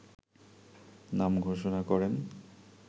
নাম ঘোষণা করেন